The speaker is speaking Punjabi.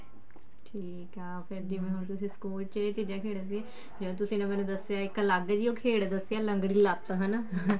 ਠੀਕ ਆ ਫ਼ੇਰ ਹੁਣ ਜਿਵੇਂ ਤੁਸੀਂ ਸਕੂਲ ਚ ਇਹ ਚੀਜ਼ਾਂ ਖੇਡ ਦੇ ਸੀ ਤੁਸੀਂ ਨੇ ਮੈਨੂੰ ਦੱਸਿਆ ਇੱਕ ਅਲੱਗ ਜੀ ਉਹ ਖੇਡ ਦੱਸਿਆ ਲੰਗੜੀ ਲੱਤ ਹਨਾ